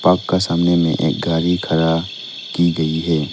आपका सामने में एक गाड़ी खड़ा की गई है।